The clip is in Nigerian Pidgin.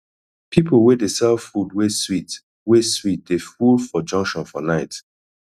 pipo wey dey sell food wey sweet wey sweet dey full for junction for night